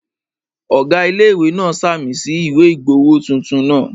Ọ̀gá ilé-ìwé náà ṣàmì sí ìwé ìgbowó tuntun náà